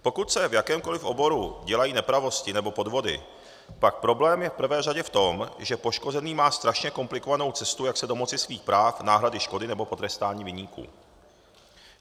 Pokud se v jakémkoli oboru dělají nepravosti nebo podvody, pak problém je v prvé řadě v tom, že poškozený má strašně komplikovanou cestu, jak se domoci svých práv, náhrady škody nebo potrestání viníků.